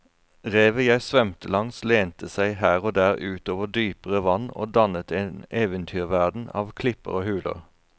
Revet jeg svømte langs lente seg her og der ut over dypere vann og dannet en eventyrverden av klipper og huler.